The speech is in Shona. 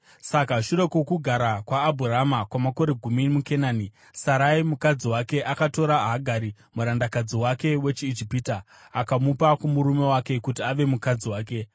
Saka shure kwokugara kwaAbhurama kwamakore gumi muKenani, Sarai mukadzi wake akatora Hagari murandakadzi wake wechiIjipita akamupa kumurume wake kuti ave mukadzi wake.